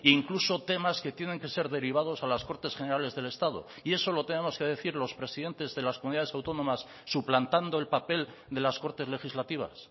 incluso temas que tienen que ser derivados a las cortes generales del estado y eso lo tenemos que decir los presidentes de las comunidades autónomas suplantando el papel de las cortes legislativas